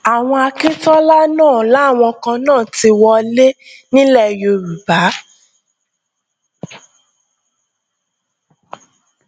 àwọn akíntola náà làwọn kan náà ti wọlé nílẹ yorùbá